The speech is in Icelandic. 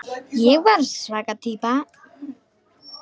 Ég var svaka týpa.